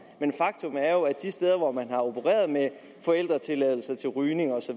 men faktum er jo at de steder hvor man har opereret med forældretilladelser til rygning osv